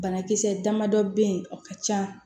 Banakisɛ damadɔ bɛ ye o ka ca